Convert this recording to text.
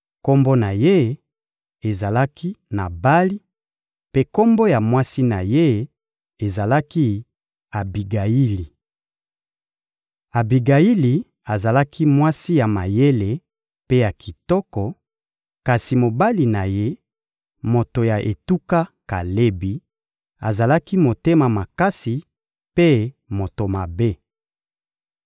Kombo na ye ezalaki «Nabali,» mpe kombo ya mwasi na ye ezalaki «Abigayili.» Abigayili azalaki mwasi ya mayele mpe ya kitoko; kasi mobali na ye, moto ya etuka Kalebi, azalaki motema makasi mpe moto mabe.